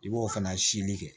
I b'o fana sili kɛ